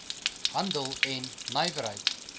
handel en nywerheid